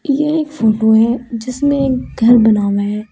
यह एक फोटो है जिसमें एक घर बना हुआ है।